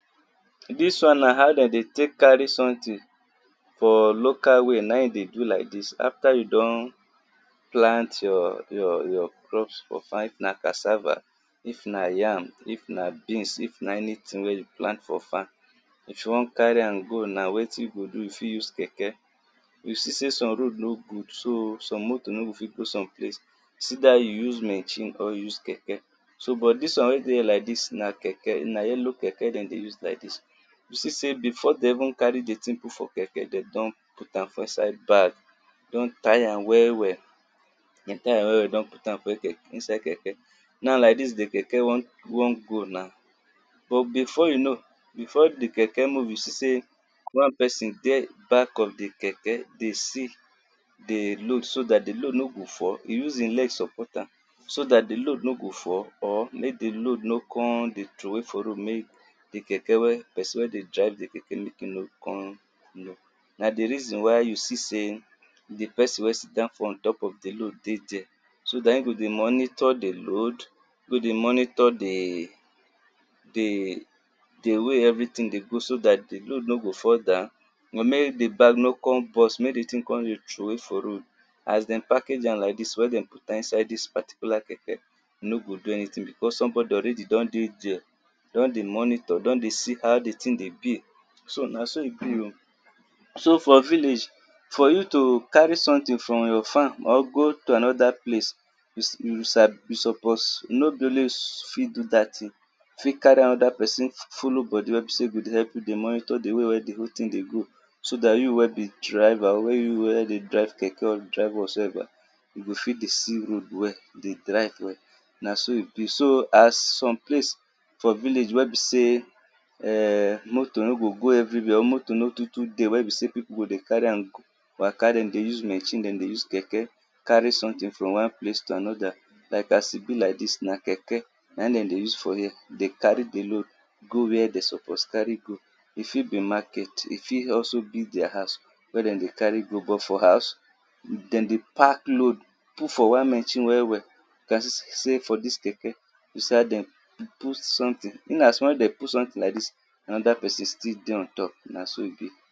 Dis one na how dem dey take carry something for local way, na im in dey do like dis, after you don plant your your your crop for farm if cassava, if na yam, if na beans, if na anything wey you plant for farm if you wan carry am go wetin you fit do, you fit use keke you see sey some road no good so some motor no go fit go some place, so its either you use machine or you use keke, so dis one wey dey here like dis na na keke na yellow keke dem dey use like dis, you see sey before dem even put di thing for keke dem don put am for inside bag don tie am well well, don tie am well well don put am for inside keke na before you now di kekek don move now, but before di keke go go you see sey one person dey for back of di keke dey see di load so dat di load no go fall, e use im leg support am so dat di load no go fall make di load no come dey trowey for road, make di keke person wen dey drive di keke make e nor come know na di reason why you see sey di person wen sit down for on top of di load dey there, so dat im go dey monitor di laod, im go dey monitor di di di way everything dey go so dat di load no go fall down, make di bag no come burst make di thing come dey trowey for road. As dem package am like dis wey dem put am for inside dis keke e no go do anything because somebody already don dey there, don dey monitor, don dey see how di thing dey be, so na so e be oh, so for village for you to carry something from your farm go to another place, you support you sabi no be only you suppose do at thing, you fit carry another person follow body wen go dey help you monitor di way wen di whole thing dey go, so dat you wen be driver you wen dey drive keke or whatsoever you go fit dey see road well, dey drive well, na so e be so some place for village wey be sey motor no go go everywhere or motor no too too dey people go dey carry am waka, dem dey use machine dem dey use keke carry something from one place to another. Like as e be like dis na keke na im dem dey use for here, dey carry di load go where dem suppose carry go, e fit be market e fit also be their house wen dem dey carry go, but for house dem dey park load put for one machine well well, you can see sey for dis keke see how dem put something, in as much dem put some thing like dis, another person still dey on top na so e be.